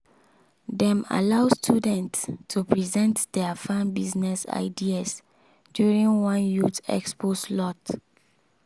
dem allow students to present their farm business ideas during one youth expo slot.